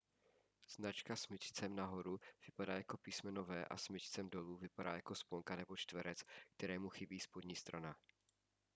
značka smyčcem nahoru vypadá jako písmeno v a smyčcem dolů vypadá jako sponka nebo čtverec kterému chybí spodní strana